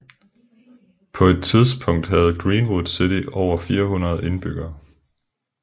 På et tidspunkt havde Greenwood City over 400 indbyggere